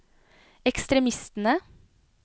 ekstremistene